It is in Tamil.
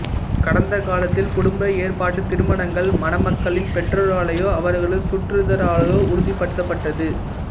கடந்த காலத்தில் குடும்ப ஏற்பாட்டுத் திருமணங்கள் மணமக்களின் பெற்றோராலோ அவர்களது சுற்றத்தாராலோ உறுதிபடுத்தப்பட்டது